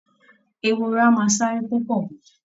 Ehoro a máa sáré púpọ̀ gan